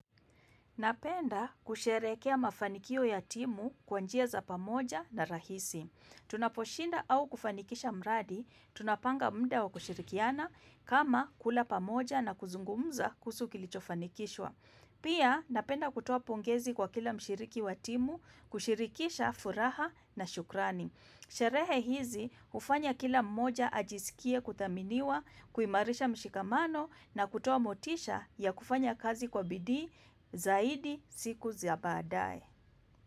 Napenda kusherehekea mafanikio ya timu kwa njia za pamoja na rahisi. Tunaposhinda au kufanikisha mradi, tunapanga muda wa kushirikiana kama kula pamoja na kuzungumza kuhusu kilichofanikishwa. Pia napenda kutoa pongezi kwa kila mshiriki wa timu, kushirikisha furaha na shukrani. Sherehe hizi hufanya kila mmoja ajisikie kuthaminiwa, kuimarisha mshikamano na kutoa motisha ya kufanya kazi kwa bidii zaidi siku za baadaye.